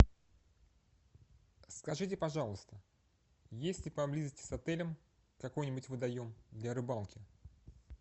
скажите пожалуйста есть ли поблизости с отелем какой нибудь водоем для рыбалки